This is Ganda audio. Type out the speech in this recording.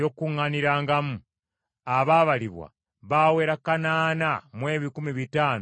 abaabalibwa baawera kanaana mu ebikumi bitaano mu kinaana (8,580).